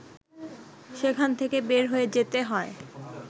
সেখান থেকে বের হয়ে যেতে হয়